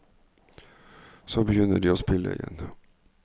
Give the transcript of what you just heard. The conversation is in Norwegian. Så begynner de å spille igjen.